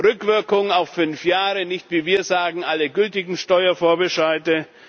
Rückwirkung auf fünf Jahre nicht wie wir sagen, alle gültigen Steuervorbescheide.